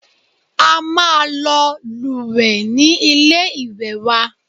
A máa lọ lúwẹ̀ẹ́ ní ilé ìwé wa.